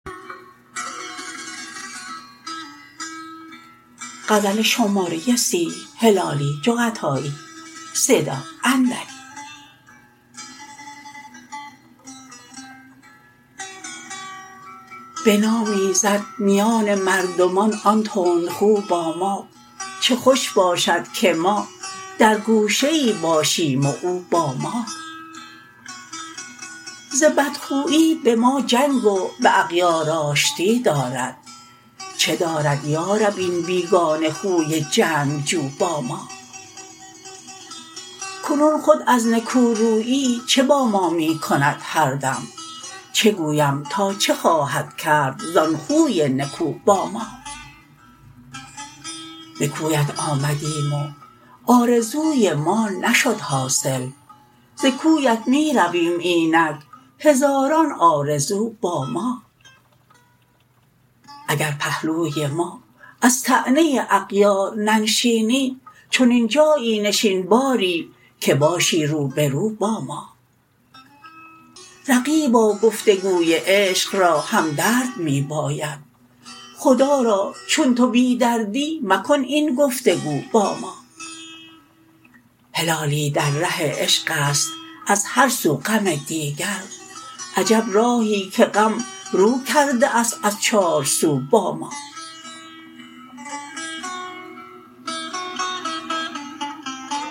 بنام ایزد میان مردمان آن تندخو با ما چه خوش باشد که ما در گوشه ای باشیم و او با ما ز بد خویی بما جنگ و باغیار آشتی دارد چه دارد یارب این بیگانه خوی جنگجو با ما کنون خود از نکورویی چه با ما میکند هر دم چه گویم تا چه خواهد کرد زان خوی نکو با ما بکویت آمدیم و آرزوی ما نشد حاصل ز کویت می رویم اینک هزاران آرزو با ما اگر پهلوی ما از طعنه اغیار ننشینی چنین جایی نشین باری که باشی روبرو با ما رقیبا گفتگوی عشق را همدرد می باید خدا را چون تو بی دردی مکن این گفتگو با ما هلالی در ره عشقست از هر سو غم دیگر عجب راهی که غم رو کرده است از چار سو با ما